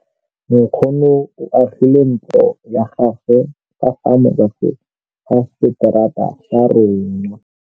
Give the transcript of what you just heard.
Nkgonne o agile ntlo ya gagwe ka fa morago ga seterata sa rona.